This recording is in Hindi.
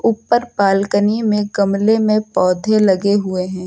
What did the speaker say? ऊपर बालकनी में गमले में पौधे लगे हुए हैं।